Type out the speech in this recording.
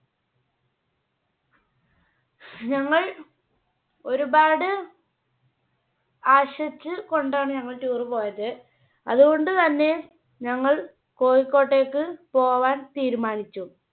ഞങ്ങൾ ഒരുപാട് ആശിച്ച് കൊണ്ടാണ് ഞങ്ങൾ Tour പോയത് അതുകൊണ്ട് തന്നെ ഞങ്ങൾ കോഴിക്കോട്ടേക്ക് പോകാൻ തീരുമാനിച്ചു.